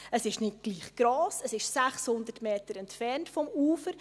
Es ist nicht gleich gross, es ist 600 Meter vom Ufer entfernt.